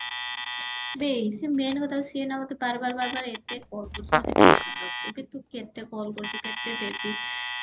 ବେଈ ସିଏ main କଥା ହଉଚି ସେଇ ନା ମତେ ବାର ବାର ବାର ବାର call କରୁଚି ମତେ tension ଲାଗୁଚି କି ତୁ କେତେ call କରୁଚୁ କେତେ ଦେବି